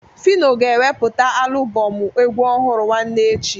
Fino ga-eweputa alụbọm egwu ọhụrụ nwanne echi.